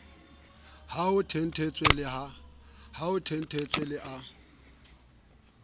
ha ho thenthetswa le a